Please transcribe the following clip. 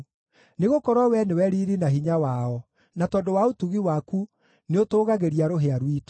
Nĩgũkorwo Wee nĩwe riiri na hinya wao, na tondũ wa ũtugi waku nĩũtũũgagĩria rũhĩa rwitũ.